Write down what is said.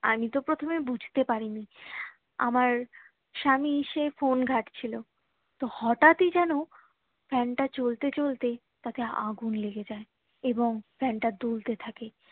আমি তো প্রথমে বুঝতে পারিনি আমার স্বামী এসে ফোন ঘাটছিলো তো হঠাৎ ই যেন fan তা চলতে চলতে তাতে আগুন লেগে যাই এবং fan তা দুলতে থাকে